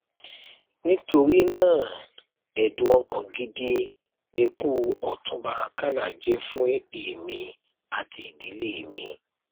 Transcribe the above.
ìjọba máa ṣèrànwọ fáwọn aráàlú pàápàá àwọn àgbẹ láti ra nǹkan ìjà olóró tí wọn bá nífẹẹ sí